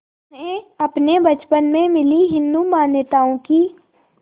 उन्हें अपने बचपन में मिली हिंदू मान्यताओं की